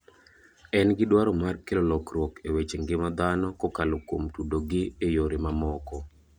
En gi dwaro mar kelo lokruok e weche ngima dhano kokalo kuom tudo gi e yore mamoko.